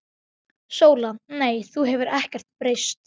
SÓLA: Nei, þú hefur ekkert breyst.